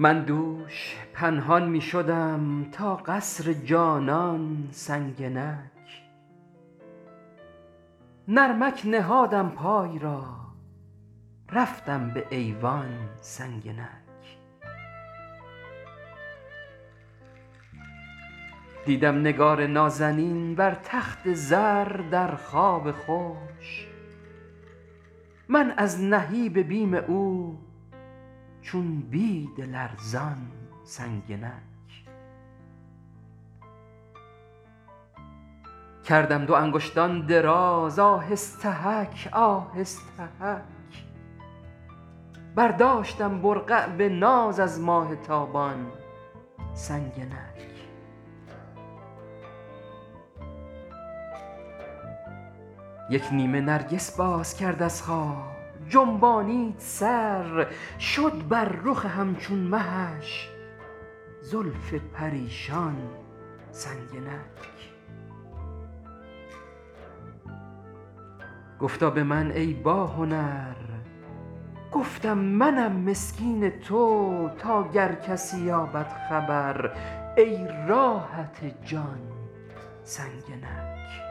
من دوش پنهان می شدم تا قصر جانان سنگنک نرمک نهادم پای را رفتم به ایوان سنگنک دیدم نگار نازنین بر تخت زر در خواب خوش من از نهیب بیم او چون بید لرزان سنگنک کردم دو انگشتان دراز آهستهک آهستهک برداشتم برقع به ناز از ماه تابان سنگنک یک نیمه نرگس باز کرد از خواب جنبانید سر شد بر رخ همچون مهش زلف پریشان سنگنک گفتا به من ای باهنر گفتم منم مسکین تو تا گر کسی یابد خبر ای راحت جان سنگنک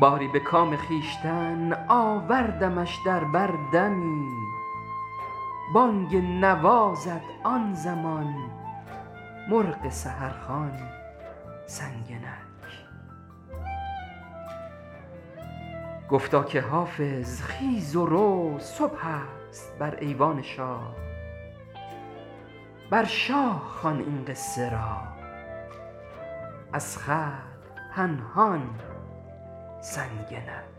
باری به کام خویشتن آوردمش در بر دمی بانگ نوا زد آن زمان مرغ سحرخوان سنگنک گفتا که حافظ خیز و رو صبح است بر ایوان شاه بر شاه خوان این قصه را از خلق پنهان سنگنک